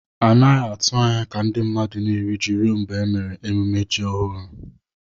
A naghị atụ anya ka ndị mmadụ na-eri ji ruo mgbe e mere emume ji ọhụrụ.